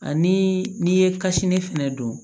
Ani n'i ye kasini fɛnɛ don